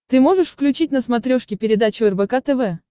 ты можешь включить на смотрешке передачу рбк тв